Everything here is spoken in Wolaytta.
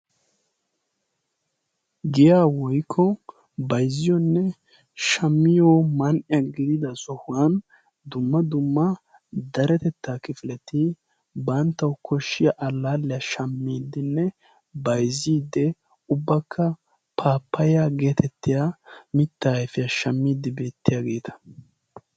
giya woykko bayzziyoonne shamiyo man''iya gidida sohuwan dumma dumma daretettaa kifileti banttawu koshshiya allaalliya shammiiddinne bayzziidde ubbakka paapaiya geetettiya mitta ayfiyaa shammiiddi beettiyaageeta